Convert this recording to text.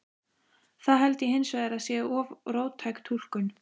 Það held ég hins vegar að sé of róttæk túlkun.